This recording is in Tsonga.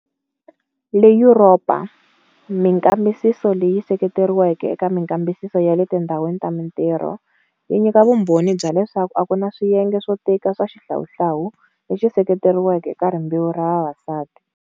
Le Yuropa, minkambisiso leyi seketeriweke eka minkambisiso ya le tindhawini ta mintirho, yi nyika vumbhoni bya leswaku a ku na swiyenge swo tika swa xihlawuhlawu lexi sekeriweke eka rimbewu ra vavasati.